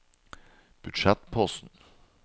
budsjettposten